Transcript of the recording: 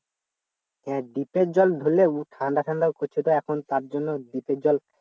হ্যাঁ দ্বীপ এর জল ধরলেও ঠান্ডা ঠান্ডা করছে তো এখন তার জন্য দ্বীপ এর জল